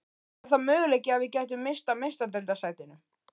Er það möguleiki að við gætum misst af meistaradeildarsætinu?